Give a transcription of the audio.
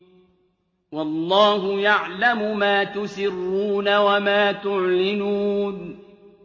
وَاللَّهُ يَعْلَمُ مَا تُسِرُّونَ وَمَا تُعْلِنُونَ